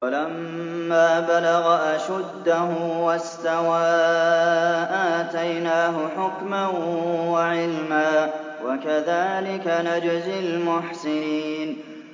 وَلَمَّا بَلَغَ أَشُدَّهُ وَاسْتَوَىٰ آتَيْنَاهُ حُكْمًا وَعِلْمًا ۚ وَكَذَٰلِكَ نَجْزِي الْمُحْسِنِينَ